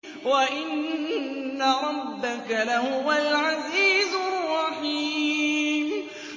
وَإِنَّ رَبَّكَ لَهُوَ الْعَزِيزُ الرَّحِيمُ